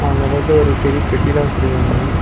அந்தப் பக்கத்துல ஒரு பெரிய பெட்டிலா வெச்சிருக்காங்க.